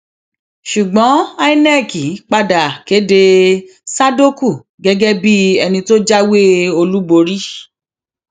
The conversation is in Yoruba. ṣùgbọn inec padà kéde sádókù gẹgẹ bíi ẹni tó jáwé olúborí